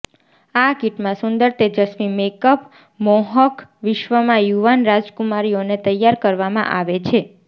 આ કિટમાં સુંદર તેજસ્વી મેકઅપ મોહક વિશ્વમાં યુવાન રાજકુમારીઓને તૈયાર કરવામાં આવે છે